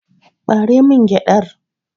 Ɓare min gyaɗar!